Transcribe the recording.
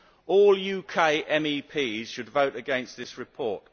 All UK MEPs should vote against this report.